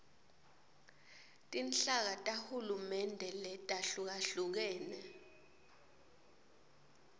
tinhlaka tahulumende letahlukahlukene